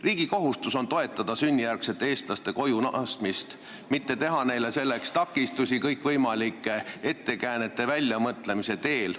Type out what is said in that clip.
Riigi kohustus on toetada sünnijärgsete eestlaste koju naasmist, mitte teha neile selles takistusi kõikvõimalike ettekäänete väljamõtlemise teel.